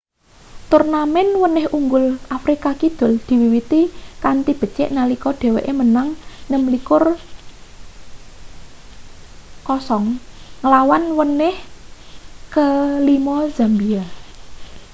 turnamen wenih unggul afrika kidul diwiwiti kanthi becik nalika dheweke menang 26 - 00 ngelawan wenih ke5 zambia